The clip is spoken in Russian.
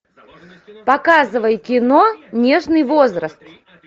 показывай кино нежный возраст